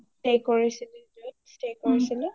stay কৰিছিলো য’ত ,stay কৰিছিলো